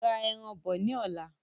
Ra ẹran bọ ní ọ̀la